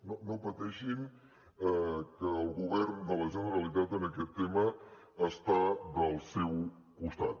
no no pateixin que el govern de la generalitat en aquest tema està del seu costat